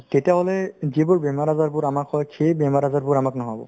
তেতিয়াহ'লে যিবোৰ বেমাৰ-আজাৰবোৰ আমাৰ হয় সেই বেমাৰ-আজাৰবোৰ আমাক নহ'ব